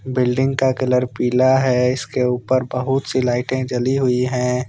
Building का colour पीला है इसके ऊपर बहुत सी लाइटें जली हुई हैं।